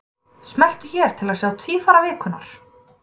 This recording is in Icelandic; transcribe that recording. Smelltu hér til að sjá Tvífara vikunnar.